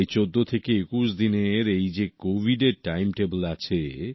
এই ১৪ থেকে ২১ দিনের এইযে কোভিডের টাইম টেবিল আছে